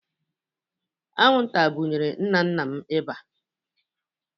Anwụnta bụnyere nna nna m ịba